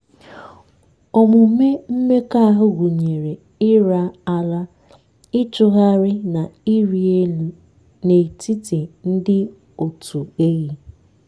omume mmekọahụ gụnyere ịra ara ịchụhari na ịrị elu n'etiti ndị òtù ehi.